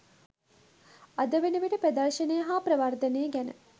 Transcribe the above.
අද වනවිට ප්‍රදර්ශනය හා ප්‍රවර්ධනය ගැන